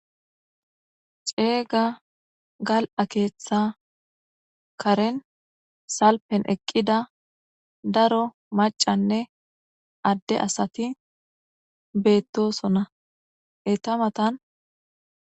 cega gal"a keththa karen salfen eqida daro macanne ade asati betosona eta matan